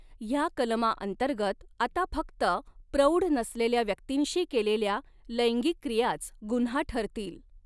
ह्या कलमा अंतर्गत आता फक्त प्रौढ नसलेल्या व्यक्तिंशी केलेल्या लैंगिक क्रियाच गुऩ्हा ठरतील.